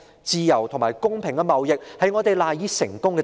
自由和公平的貿易，是我們賴以成功之處。